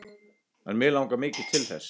En mig langar mikið til þess.